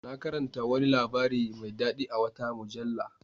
Na karanta wani labari mai dadi a wata mujalla.